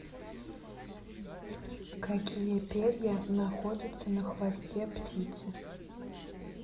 какие перья находятся на хвосте птицы